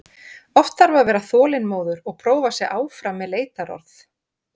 Oft þarf að vera þolinmóður og prófa sig áfram með leitarorð.